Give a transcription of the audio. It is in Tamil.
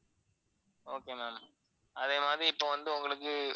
okay ma'am அதேமாதிரி இப்ப வந்து உங்களுக்கு